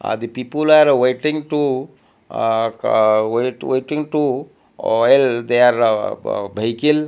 are the people are waiting to ah ka wai waiting to oil they are behicle --